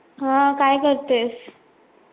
हा काय करते आहेस?